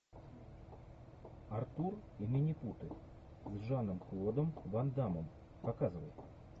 артур и минипуты с жаном клодом ван даммом показывай